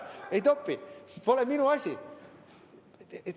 Ei topi, pole minu asi.